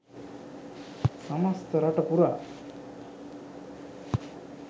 සමස්ත රට පුරා